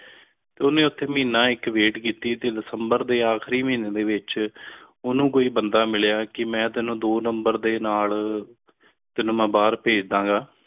ਤੇ ਉਨ੍ਹੇ ਉਥੇ ਮਹੀਨਾ ਇਕ wait ਕਿੱਤੀ ਤੇ december ਦੇ ਆਖਰੀ ਮਹੀਨੇ ਦੇ ਵਿਚ ਉਨਹੂ ਕੋਈ ਬੰਦਾ ਮਿਲੀਆਂ ਕ ਮੇਂ ਤੈਨੂੰ ਦੋ ਨੰਬਰ ਦੇ ਨਾਲ ਤੈਨੂੰ ਮੇਂ ਬਾਹਿਰ ਭੇਜ ਦਾ ਗਏ